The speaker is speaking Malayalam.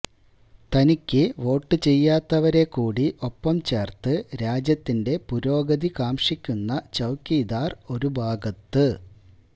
തനിക്ക് വോട്ട് ചെയ്യാത്തവരെക്കൂടി ഒപ്പം ചേര്ത്ത് രാജ്യത്തിന്റെ പുരോഗതി കാംക്ഷിക്കുന്ന ചൌക്കിദാര് ഒരുഭാഗത്ത്